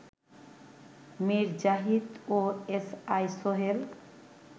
মীর জাহিদ ও S I Sohel